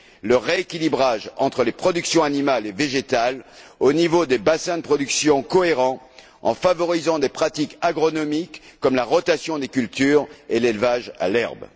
le rééquilibrage entre les productions animales et végétales au niveau des bassins de production cohérents, en favorisant des pratiques agronomiques comme la rotation des cultures et l'élevage à l'herbe.